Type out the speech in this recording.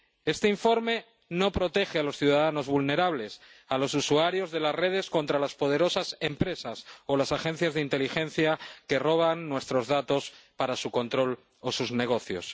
Este informe no protege a los ciudadanos vulnerables, a los usuarios de las redes, contra las poderosas empresas o las agencias de inteligencia que roban nuestros datos para su control o sus negocios.